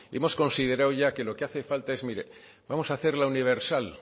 hemos considerado ya que lo que hace falta es mire vamos a hacerla universal